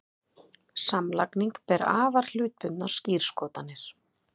Samlagning ber afar hlutbundnar skírskotanir.